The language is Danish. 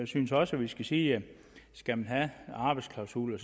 synes også vi skal sige at skal man have arbejdsklausuler